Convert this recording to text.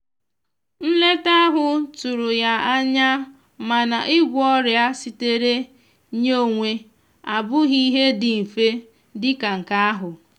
nleta ahụ tụrụ ya anyamana ịgwọ ọria sitere nye onwe abụghì ihe ndi mfe dika nke ahụ